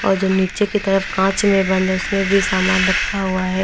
और जो नीचे की तरफ कांच में बंद है उसमें भी सामान रखा हुआ है।